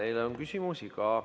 Teile on ka küsimusi.